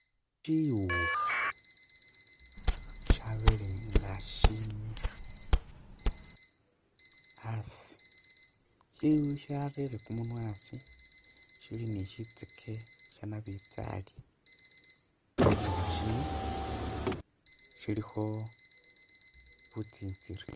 Shiwukha shabelenga shimikha asi sharere mumunwa asi sili ni sitsyeke shanabinjari shiwukha sino silikho butsintsiriba